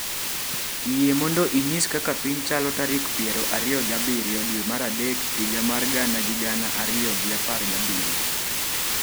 yie mondo inyis kaka piny chalo tarik piero ariyo gi abiro dwe mar adek higa mar gana gi gana ariyo gi apar gi abiro